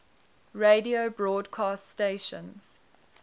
radio broadcast stations